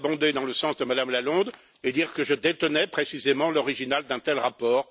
Je voulais abonder dans le sens de Mme Lalonde et dire que je détenais précisément l'original d'un tel rapport.